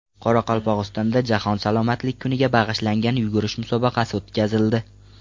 Qoraqalpog‘istonda Jahon salomatlik kuniga bag‘ishlangan yugurish musobaqasi o‘tkazildi.